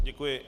Děkuji.